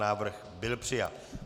Návrh byl přijat.